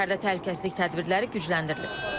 Şəhərdə təhlükəsizlik tədbirləri gücləndirilib.